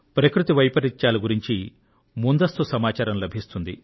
ప్రకృతి వైపరీత్యాల గురించి ముందస్తు సమాచారం లభిస్తుంది